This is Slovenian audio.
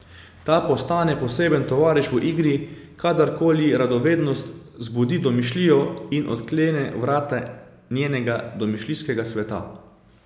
Ta postane poseben tovariš v igri, kadarkoli ji radovednost zbudi domišljijo in odklene vrata njenega domišljijskega sveta.